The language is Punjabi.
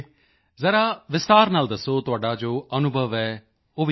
ਜ਼ਰਾ ਵਿਸਤਾਰ ਨਾਲ ਦੱਸੋ ਤੁਹਾਡਾ ਜੋ ਅਨੁਭਵ ਹੈ ਉਹ ਵੀ ਦੱਸੋ